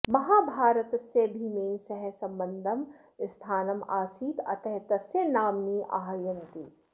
महाभारतस्य भीमेन सह सम्बद्धं स्थानम् आसीत् अतः तस्य नाम्नि आह्वयन्ति